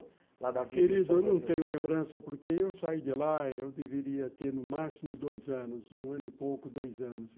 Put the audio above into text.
Querido, eu não tenho lembrança, porque eu saí de lá, eu deveria ter no máximo dois anos, um ano e pouco, dois anos.